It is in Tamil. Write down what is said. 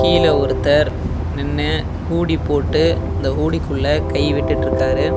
கீழ ஒருத்தர் நின்னு ஹூடி போட்டு அந்த ஹூடிக்குள்ள கை விட்டுட்டுருக்காரு.